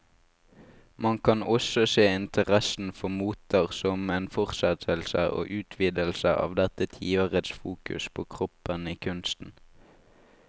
Man kan også se interessen for moter som en fortsettelse og utvidelse av dette tiårets fokus på kroppen i kunsten.